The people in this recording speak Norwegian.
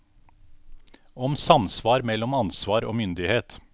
Om samsvar mellom ansvar og myndighet.